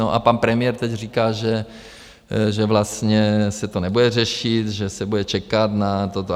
No a pan premiér teď říká, že vlastně se to nebude řešit, že se bude čekat na toto.